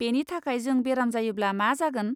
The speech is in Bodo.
बेनि थाखाय जों बेराम जायोब्ला मा जागोन?